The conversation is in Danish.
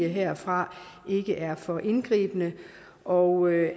herfra ikke er for indgribende og